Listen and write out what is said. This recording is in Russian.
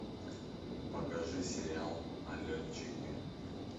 покажи сериал налетчики